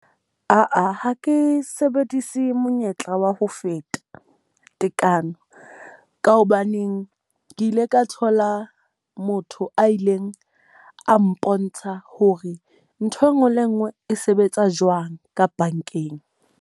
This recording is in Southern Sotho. Aa, ha ke sebedise monyetla wa ho feta tekano. Ka hobaneng ke ile ka thola motho a ileng a mpontsha hore ntho e nngwe le e nngwe e sebetsa jwang ka bankeng.